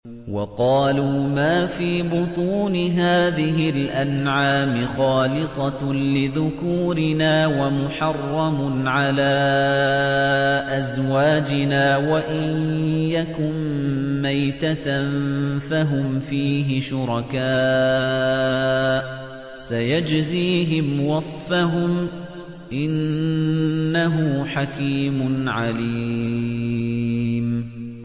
وَقَالُوا مَا فِي بُطُونِ هَٰذِهِ الْأَنْعَامِ خَالِصَةٌ لِّذُكُورِنَا وَمُحَرَّمٌ عَلَىٰ أَزْوَاجِنَا ۖ وَإِن يَكُن مَّيْتَةً فَهُمْ فِيهِ شُرَكَاءُ ۚ سَيَجْزِيهِمْ وَصْفَهُمْ ۚ إِنَّهُ حَكِيمٌ عَلِيمٌ